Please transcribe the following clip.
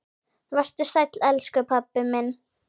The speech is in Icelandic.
Vertu sæll, elsku pabbi minn.